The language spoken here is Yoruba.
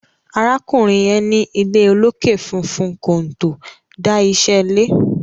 arákùnrin yen ní ilé olokè fufun konto dá iṣé lẹ